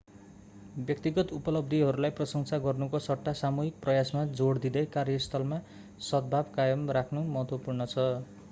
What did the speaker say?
व्यक्तिगत उपलब्धिहरूलाई प्रशंसा गर्नुको सट्टा सामूहिक प्रयासमा जोड दिँदै कार्यस्थलमा सद्भाव कायम राख्नु महत्त्वपूर्ण छ